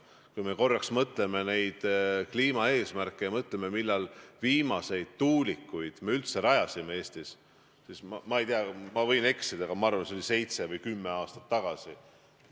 Kui me korraks mõtleme kliimaeesmärkidele ja mõtleme, millal me üldse Eestis viimati tuulikuid rajasime – ma ei tea, ma võin eksida, aga ma arvan, et see oli seitse või kümme aastat tagasi.